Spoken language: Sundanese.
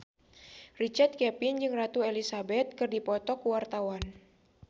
Richard Kevin jeung Ratu Elizabeth keur dipoto ku wartawan